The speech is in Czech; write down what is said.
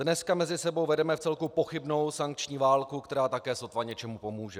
Dneska mezi sebou vedeme vcelku pochybnou sankční válku, která také sotva něčemu pomůže.